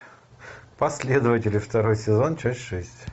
последователи второй сезон часть шесть